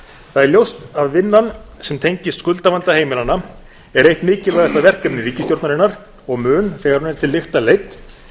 það er ljóst að vinnan sem tengist skuldavanda heimilanna er eitt mikilvægasta verkefni ríkisstjórnarinnar og mun þegar hún er til lykta leidd